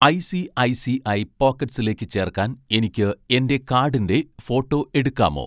ഐ.സി.ഐ.സി.ഐ പോക്കറ്റ്‌സിലേക്ക് ചേർക്കാൻ എനിക്ക് എൻ്റെ കാഡിൻ്റെ ഫോട്ടോ എടുക്കാമോ